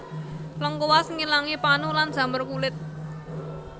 Lengkuas ngilangi panu lan jamur kulit